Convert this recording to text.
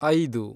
ಐದು